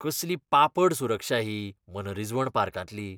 कसली पापड सुरक्षा ही मनरिजवण पार्कांतली!